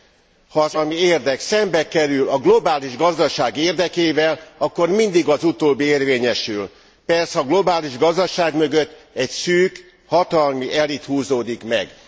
Ha az emberi társadalmi érdek szembekerül a globális gazdaság érdekével, akkor mindig az utóbbi érvényesül. Persze a globális gazdaság mögött egy szűk hatalmi elit húzódik meg.